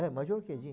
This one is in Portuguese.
É, Major Quedinho.